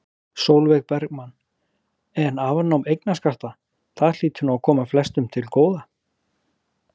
Sólveig Bergmann: En afnám eignarskatta, það hlýtur nú að koma flestum til góða?